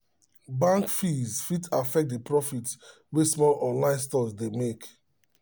um bank fees fit affect the profit wey small online stores um dey make